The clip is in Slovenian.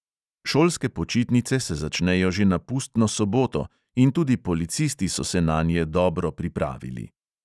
Šolske počitnice se začnejo že na pustno soboto in tudi policisti so se nanje dobro pripravili.